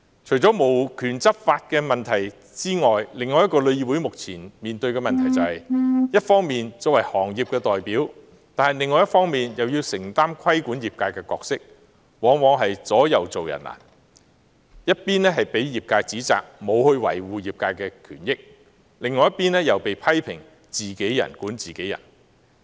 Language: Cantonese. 除了沒有執法權的問題外，旅議會目前面對的另一個問題是，旅議會一方面作為行業的代表，但另一方面又要承擔規管業界的角色，往往是左右做人難，一邊被業界指責沒有維護業界的權益，另一邊又被批評"自己人管自己人"。